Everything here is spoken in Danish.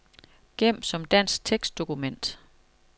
Gem som dansk tekstdokument.